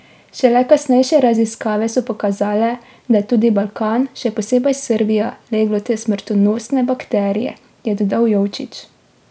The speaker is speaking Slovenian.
Šele kasnejše raziskave so pokazale, da je tudi Balkan, še posebej Srbija, leglo te smrtonosne bakterije, je dodal Jovčić.